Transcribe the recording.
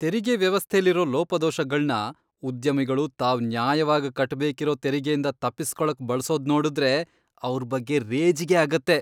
ತೆರಿಗೆ ವ್ಯವಸ್ಥೆಲಿರೋ ಲೋಪದೋಷಗಳ್ನ ಉದ್ಯಮಿಗಳು ತಾವ್ ನ್ಯಾಯವಾಗ್ ಕಟ್ಬೇಕಿರೋ ತೆರಿಗೆಯಿಂದ ತಪ್ಪಿಸ್ಕೊಳಕ್ ಬಳ್ಸೋದ್ನೋಡುದ್ರೆ ಅವ್ರ್ ಬಗ್ಗೆ ರೇಜಿಗೆ ಆಗತ್ತೆ.